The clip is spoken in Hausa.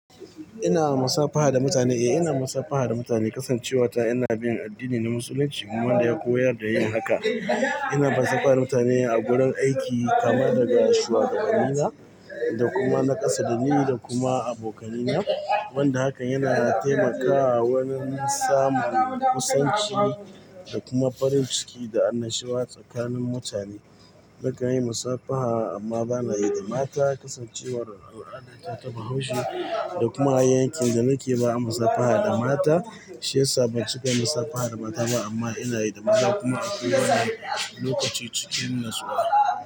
Ina musafaha da mutane? Eh ina musafaha da mutane, kasancewata ina bin addini na musulunci wanda ya koyar da yin haka. Ina musafaha mutane a gurin aiki kamar daga shuwagabanni na da kuma na ƙasa dani da kuma abokanai na wanda hakan yana taimakawa wurin samun kusanci da kuma farin ciki da annashuwa tsakanin mutane. Nakanyi musafaha amma banayi da mata kasancewar al'adata ta bahaushe da kuma yankin danake ba'a musafaha da mata. Shi ya sa ban cika musafaha da mata ba amma ina yi da maza kuma akwai wani lokaci cikin natsuwa.